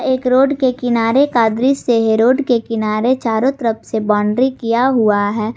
एक रोड के किनारे का दृश्य है रोड के किनारे चारों तरफ से बाउंड्री किया हुआ है।